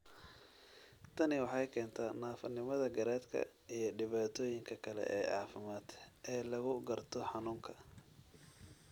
Tani waxay keentaa naafanimada garaadka iyo dhibaatooyinka kale ee caafimaad ee lagu garto xanuunka.